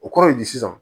O kɔrɔ ye di sisan